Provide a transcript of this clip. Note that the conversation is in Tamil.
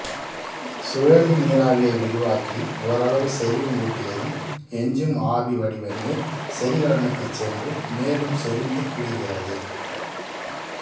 சுழலி நீராவியை விரிவாக்கி ஓரளவு செறிவும் ஊட்டியதும் எஞ்சும் ஆவி வடிவ நீர் செறிகலனுக்குச் சென்று மேலும் செறிந்துக் குளிர்கிறது